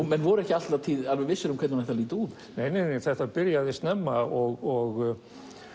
menn voru ekki alla tíð alveg vissir um hvernig hún ætti að líta út nei þetta byrjaði snemma og